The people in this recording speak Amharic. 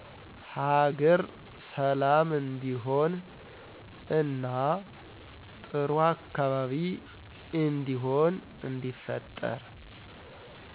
ሀገር ሠላም እንዲሆን እና ጥሩ አካባቢ እንዲሆን እንዲፈጠር